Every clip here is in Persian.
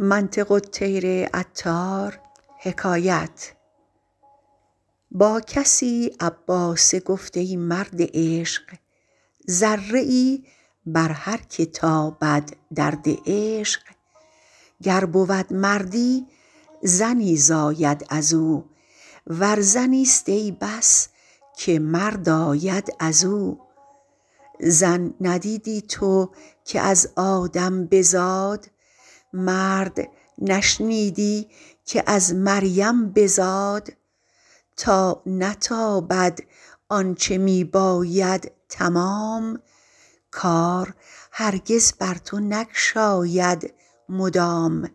با کسی عباسه گفت ای مرد عشق ذره ای بر هرک تابد درد عشق گر بود مردی زنی زاید ازو ور زنیست ای بس که مرد آید ازو زن ندیدی تو که از آدم بزاد مرد نشنیدی که از مریم بزاد تا نتابد آنچ می باید تمام کار هرگز بر تو نگشاید مدام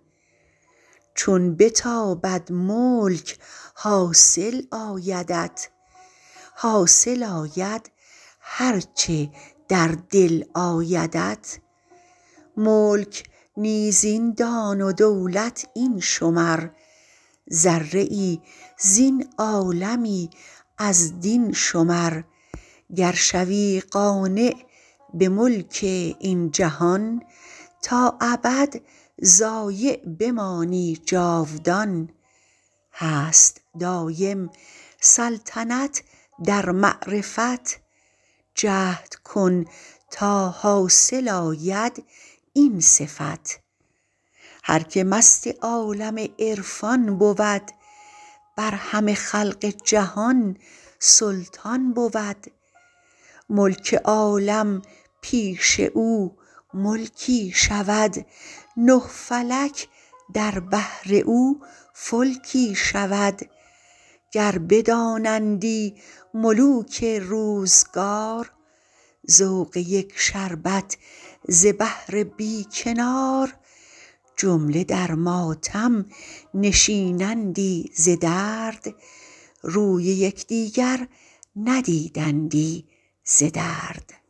چون بتابد ملک حاصل آیدت حاصل آید هرچ در دل آیدت ملک نیز این دان و دولت این شمر ذره ای زین عالمی از دین شمر گر شوی قانع به ملک این جهان تا ابد ضایع بمانی جاودان هست دایم سلطنت در معرفت جهد کن تا حاصل آید این صفت هرک مست عالم عرفان بود بر همه خلق جهان سلطان بود ملک عالم پیش او ملکی شود نه فلک در بحر او فلکی شود گر بدانندی ملوک روزگار ذوق یک شربت ز بحر بی کنار جمله در ماتم نشینندی ز درد روی یک دیگر ندیدندی ز درد